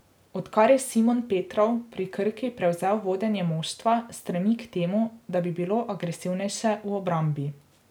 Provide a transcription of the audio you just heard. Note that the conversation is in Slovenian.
Odkar je Simon Petrov pri Krki prevzel vodenje moštva, stremi k temu, da bi bilo agresivnejše v obrambi.